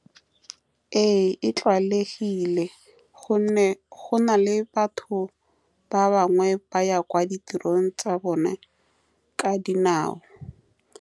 Ee, e tlwaelegile ka gonne go na le batho ba bangwe ba ba yang kwa ditirong tsa bone ka dinao.